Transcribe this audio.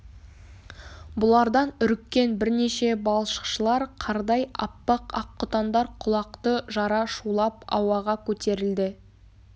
бұлардан үріккен бірнеше балшықшылар қардай аппақ аққұтандар құлақты жара шулап ауаға көтерілді